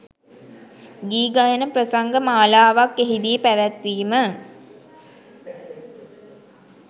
ගී ගයන ප්‍රසංග මාලාවක් එහිදී පැවැත්වීම